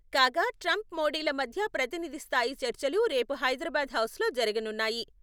కాగా, ట్రంప్, మోడీల మధ్య ప్రతినిధి స్థాయి చర్చలు రేపు హైదరాబాద్ హౌస్లో జరగనున్నాయి.